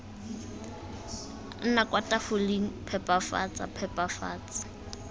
nna kwa tafoleng phepafatsa phepafatsa